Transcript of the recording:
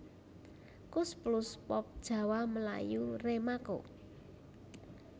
Koes Plus Pop Jawa Melayu Remaco